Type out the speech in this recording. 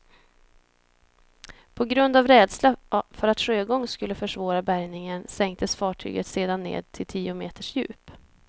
På grund av rädsla för att sjögång skulle försvåra bärgningen sänktes fartyget sedan ned till tio meters djup.